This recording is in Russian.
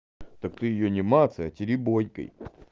так ты её не мацай а теребонькай